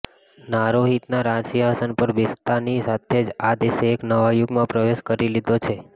નારોહિતાના રાજસિંહાસન પર બેસતાની સાથે જ આ દેશે એક નવા યુગમાં પ્રવેશ કરી લીધો છે